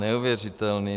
Neuvěřitelné.